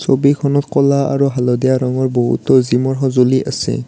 ছবিখনত ক'লা আৰু হালধীয়া ৰঙৰ বহুতো জিম ৰ সঁজুলি আছে।